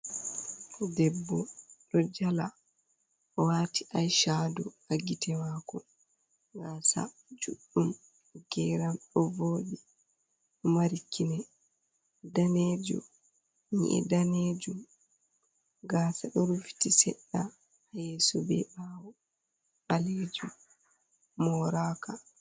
Debbo doo jala, waati aishado, hagite maako, gaasa juɗɗum, geeram ɗoovooɗi, marikine, danejo nyi’i danejuum gaasa ɗoorfufiiti seɗɗa ha yeeso, be ɓawo ɓalejuum moraka.